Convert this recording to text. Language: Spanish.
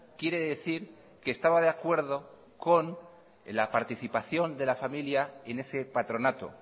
quiere decir que estaba de acuerdo con la participación de la familia en ese patronato